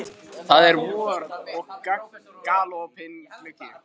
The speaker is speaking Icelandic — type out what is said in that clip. Það er vor og galopinn gluggi.